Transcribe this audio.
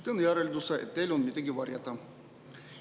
Teen järelduse, et teil on midagi varjata.